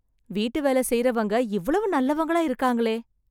வீட்டு வேல செய்றவங்க இவ்வளவு நல்லவங்களா இருக்காங்களே.